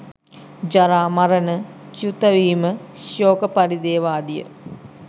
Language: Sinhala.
ජරා, මරණ, ච්‍යුතවීම, සෝක පරිදේව ආදිය